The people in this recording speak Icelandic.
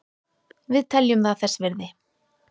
Við teljum það þess virði